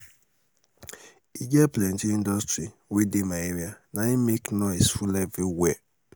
e get plenty industry wey dey my area naim make noise full everywhere.